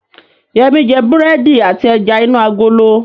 Yẹmí jẹ búrẹ́dì àti ẹja inú agolo